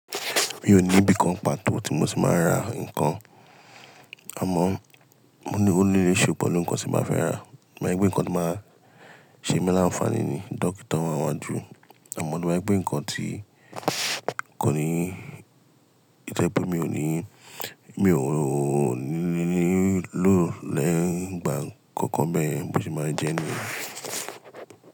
Mi ò ní ibi kan pàtó tí mo ti máa ń ra nǹkan. Àmọ́, ó ni se pelu nǹkan tí màá fẹ́ rà, to ba je wipe nǹkan tó máa ṣe ń mi láǹfààní ni dóctor wá niwaju Àmọ́, to ba je pé nǹkan tí kò ní ń jẹ́ pé mi ò ní, mi ò ní ló lè gba nǹkan kan bẹ́ẹ̀ bo se máa jẹ nìyẹn.